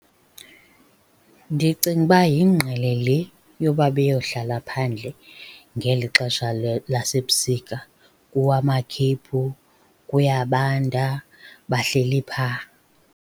Ndicinga uba yingqele le yoba beyohlala phandle ngeli xesha lasebusika. Kuwa amakhephu kuyabanda, bahleli phaa.